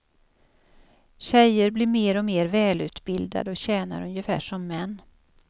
Tjejer blir mer och mer välutbildade och tjänar ungefär som män.